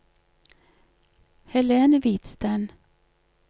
Helen Hvidsten